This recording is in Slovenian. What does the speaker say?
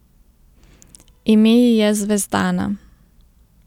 Ime ji je Zvezdana.